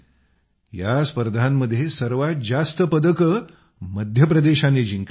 या स्पर्धांमध्ये सर्वात जास्त पदकं मध्य प्रदेशानं जिंकली